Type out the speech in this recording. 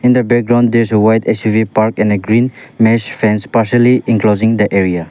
in the background there is a white S_U_V in a green mess fench partially enclosing the area.